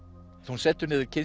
hún setur niður kyn